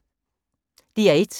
DR1